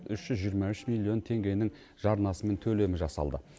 үш жүз жиырма үш миллион теңгенің жарнасы мен төлемі жасалды